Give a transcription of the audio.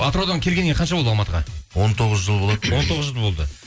атыраудан келгеніңе қанша болды алматыға он тоғыз жыл болады он тоғыз жыл болды